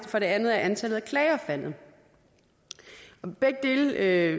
for det andet er antallet af klager faldet begge dele er